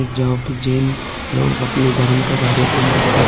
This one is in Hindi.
जहां पे जैन लोग अअपने धर्म का कार्यक्रम करते है।